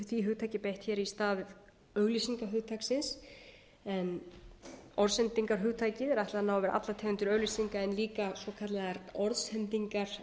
því hugtaki er beitt í stað auglýsingahugtaksins en orðsendingarhugtakinu er ætlað að ná yfir allar tegundir auglýsinga en líka svokallaðar orðsendingar